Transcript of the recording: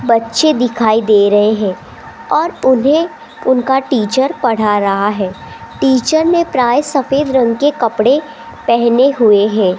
बच्चे दिखाई दे रहे हैं और उन्हें उनका टीचर पढ़ा रहा है टीचर ने प्राय सफेद रंग के कपड़े पहने हुए है।